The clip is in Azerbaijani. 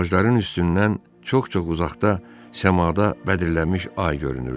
Ağacların üstündən çox-çox uzaqda səmada bədirlənmiş ay görünürdü.